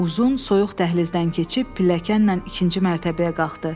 Uzun soyuq dəhlizdən keçib pilləkənlə ikinci mərtəbəyə qalxdı.